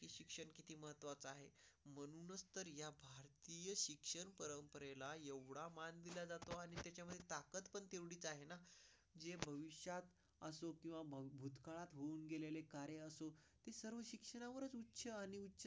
पर्यंत शिक्षण परंपरेला एवढा मानला जातो. त्याच्यामध्ये टाकत पण तेवढीच आहे. जे भविष्यात असो किंवा मग भूतकाळ होऊन गेलेले कार्य असून ते सर्व शिक्षणामुळे आणि स्टार.